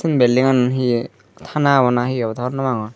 belding an hiye tana awbw na hi awbwdw honno pangor.